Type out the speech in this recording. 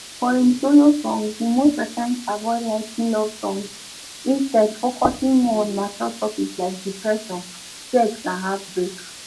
for im solo songs e most times avoid writing love songs instead focusing more on mature topics like depression sex and heartbreak